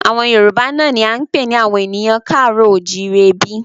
Àwọn Yorùbá náà ni a ń pè ní àwọn ènìyàn ká àárọ̀ o ò jíire bí